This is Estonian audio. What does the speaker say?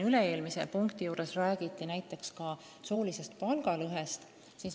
Üle-eelmise punkti arutelul räägiti siin ka soolisest palgalõhest.